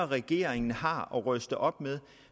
regeringen har at ryste op med